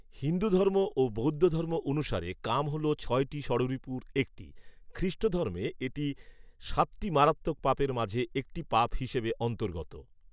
হিন্দুধর্ম ও বৌদ্ধধর্ম অনুসারে কাম হল ছয়টি ষড়ঋপুর একটি। খ্রিষ্টধর্মে এটি সাতটি মারাত্মক পাপের মাঝে একটি পাপ হিসেবে অন্তর্গত